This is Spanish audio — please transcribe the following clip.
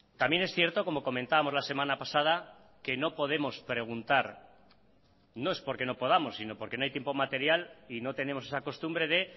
también es cierto como comentábamos la semana pasada que no podemos preguntar no es porque no podamos sino porque no hay tiempo material y no tenemos esa costumbre de